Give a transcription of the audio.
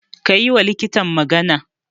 Ka yiwa likitan magana.